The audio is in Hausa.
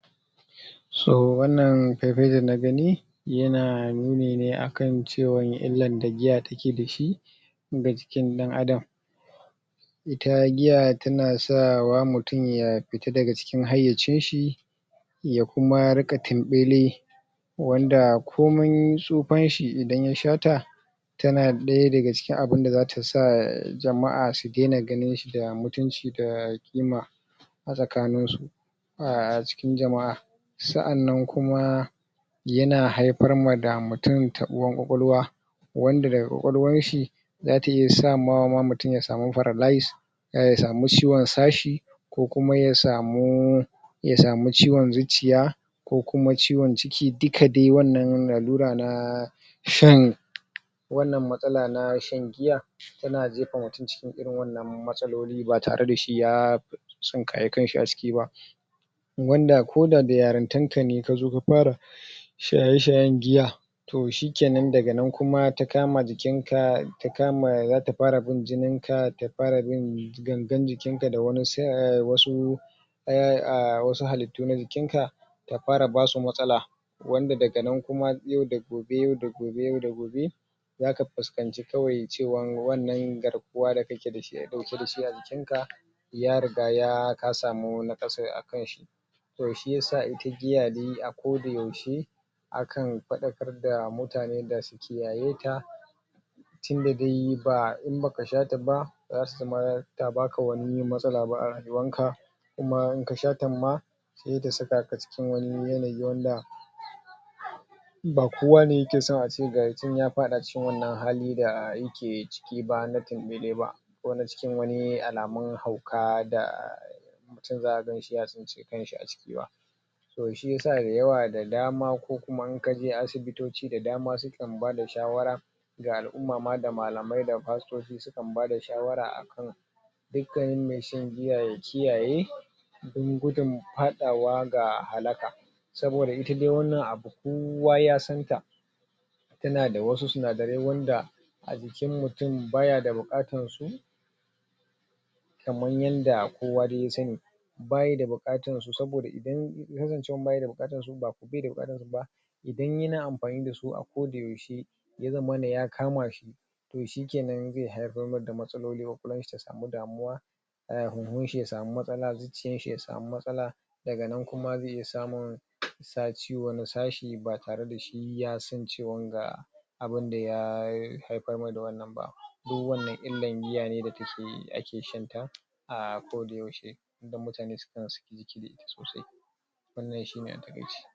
so wannan fai fai da na gani yana nuni ne akan cewa illan da giya take dashi ga jikin dan adam ita giya tana sa wa mutum ya ffita daga cikin haiyacin shi ya kuma ringa tumbeli wanda komin tsufan shi idan ya sha ta tana daya daga cikin abun da zata sa jama'a su daina ganin shi da mutunci da ƙima a tsakanin su a cikin jama'a sa'annan kuma yana haifar ma da mutum tabuwar ƙwaƙwaluwa wanda ƙwaƙwaluwan shi zata iya sa ma mutum ya samu paralyze ya samu ciwon sashi ko kuma ya samu ya samu ciwon zuciya ko kuma ciwon ciki duka dai wannan lallura na shan wannan matsala na shan giya tana jefa mutum cikin wannan matsalolin ba tare da shi ya sunkaya kanshi a ciki wanda ko da da yarantanta ne tazo ta fara shaye shayen giya toh shikenan kuma ta kama jikin ka ta kama zata fara bin jinin ka ta far bin gangan jikin ka da wasu um wasu halittu na jikin ka ta fara basu matsala wanda daga nan kuma yau da gobe yau da gobe zaka fukanci kawai cewan wannan garkuwa da kake dashi dauke dashi a jikin ka ya riga ka samu nakasai a kanshi toh shiyasa ita giya a ko da yaushe akan fadakar da mutane da su kiyaye ta tu da dai in baka sha ta ba zata zama ta baka wani matsala a rayuwan ka kuma in ka sha ta ma sai ta saka ka cikin wani yanayi wnada ba kowa ne yakeso a ce ga yi can ya fada a cikin wannan hali da yake ciki ba na ko na cikin wani alamun hauka da mutum za'a ganshi ya tsinci kan shi a ciki ba toh shiyasa da dama kuma in kaje asibitoci da dama sukan bada shawara ga al'umma ma da malamai da pastoci sukan bada shawara dukkan mai shan giya ya kiyaye dan gudun fadawa da halaka saboda dai ita wannan abu kowa ya santa tana wasu sinadarai wanda a jikin mutum baya da bukatan su sannan yanda kowa dai ya sani bayi da bukatan su saboda idan zancen bayi da bukatan su bai da bukatan su idan yana mfani dasu a koda yaushe ya zammana ya kama shi toh shikenan zai haifar mai da matsaloli na damuna har huunshi ya samu matsala jikin shi ya samu matsala daga nan kuma zai samu sa ciwon sashi ba tare da ya san cewa ga abun da ya haifar mai da wannan ba duk wannan illan giwa ne da ke shan ta a ko da yaushe idan mutane suna wannan shine a takaice